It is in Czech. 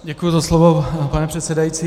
Děkuji za slovo, pane předsedající.